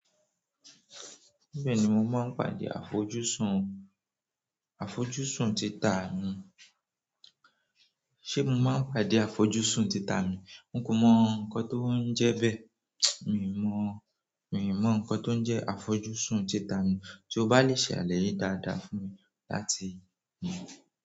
Bẹ́ẹ̀ni mo máa ń pàdé àfojúsùn, àfojúsùn títà mi. Ṣé mo máa ń pàdé àfojúsùn títà mi? Mi ò mo ǹkan t'oun jẹ́ be. Mi ò mo ǹkan t'onje àfojúsùn títà mi. Tí o bá lè ṣàlàyé daada fún mi.